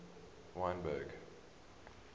wynberg